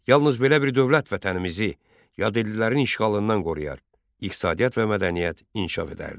Yalnız belə bir dövlət vətənimizi yadellilərin işğalından qoruyar, iqtisadiyyat və mədəniyyət inkişaf edərdi.